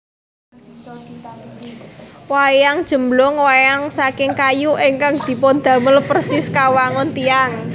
Wayang Jemblung Wayang saking kayu ingkang dipundamel persis kawangun tiyang